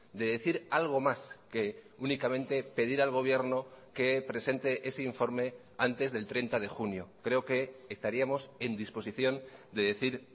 de decir algo más que únicamente pedir al gobierno que presente ese informe antes del treinta de junio creo que estaríamos en disposición de decir